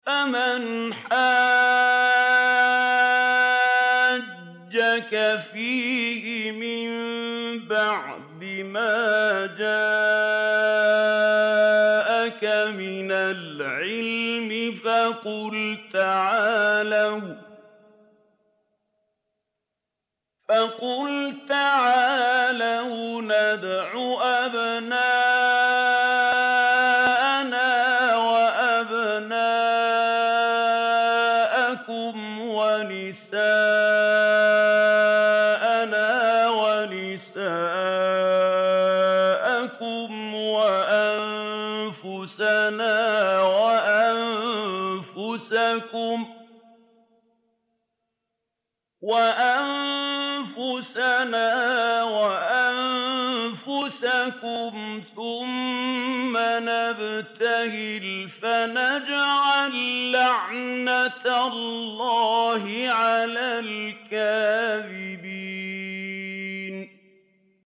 فَمَنْ حَاجَّكَ فِيهِ مِن بَعْدِ مَا جَاءَكَ مِنَ الْعِلْمِ فَقُلْ تَعَالَوْا نَدْعُ أَبْنَاءَنَا وَأَبْنَاءَكُمْ وَنِسَاءَنَا وَنِسَاءَكُمْ وَأَنفُسَنَا وَأَنفُسَكُمْ ثُمَّ نَبْتَهِلْ فَنَجْعَل لَّعْنَتَ اللَّهِ عَلَى الْكَاذِبِينَ